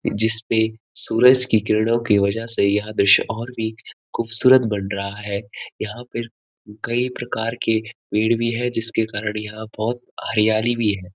जिसपे सूरज की किरणों की वजह से यह दृश्य और भी खूबसूरत बन रहा है यहाँ पर म कई प्रकार के पेड़ भी हैं जिसके कारण यहाँ बहुत हरियाली भी है।